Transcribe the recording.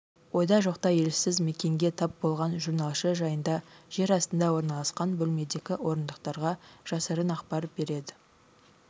ойда-жоқта елсіз мекенге тап болған журналшы жайында жер астында орналасқан бөлмедегі орындықтарға жасырын ақпар береді